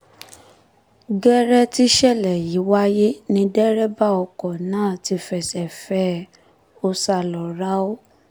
gẹ́rẹ́ tíṣẹ̀lẹ̀ yìí wáyé ni dẹ́rẹ́bà ọkọ̀ náà ti fẹsẹ̀ fẹ́ ẹ ó sá lọ ráú